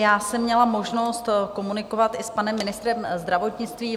Já jsem měla možnost komunikovat i s panem ministrem zdravotnictví.